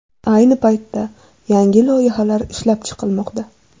Ayni paytda yangi loyihalar ishlab chiqilmoqda.